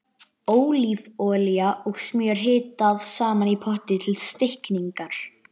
Ólífuolía og smjör hitað saman í potti til steikingar.